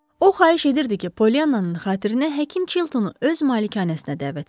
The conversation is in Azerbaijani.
O, xahiş edirdi ki, Poliannanın xatirinə həkim Çiltonu öz malikanəsinə dəvət etsin.